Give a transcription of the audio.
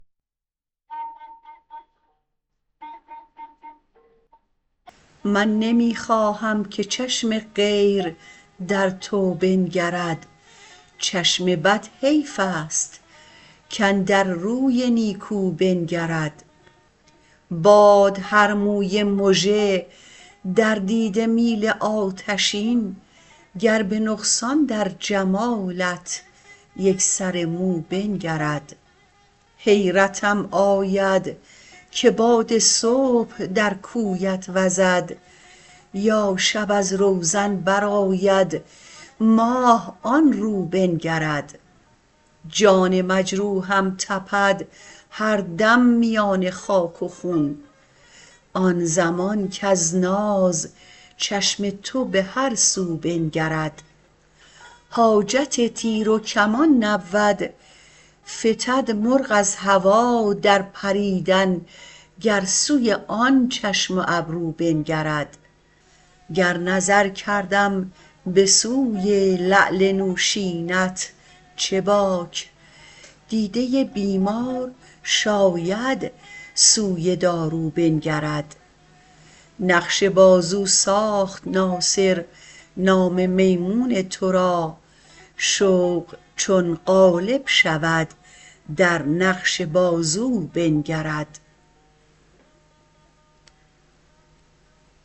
من نمی خواهم که چشم غیر در تو بنگرد چشم بد حیف است کاندر روی نیکو بنگرد باد هر موی مژه در دیده میل آتشین گر به نقصان در جمالت یک سر مو بنگرد حیرتم آید که باد صبح در کویت وزد یا شب از روزن بر آید ماه آن رو بنگرد جان مجروحم تپد هر دم میان خاک و خون آن زمان کز ناز چشم تو به هر سو بنگرد حاجت تیر و کمان نبود فتد مرغ از هوا در پریدن گر سوی آن چشم و ابرو بنگرد گر نظر کردم به سوی لعل نوشینت چه باک دیده بیمار شاید سوی دارو بنگرد نقش بازو ساخت ناصر نام میمون تو را شوق چون غالب شود در نقش بازو بنگرد